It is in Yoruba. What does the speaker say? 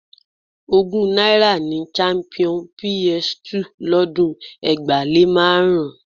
Ogún náírà ni champion PS 2 lọ́dún ẹgbàá-lé-márùn-ún